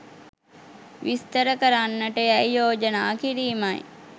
විස්තර කරන්නට යැයි යෝජනා කිරීමයි